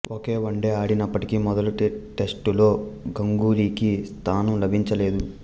ఒకే one day ఆడినప్పటికీ మొదటి టెస్టులో గంగూలీకి స్థానం లభించలేదు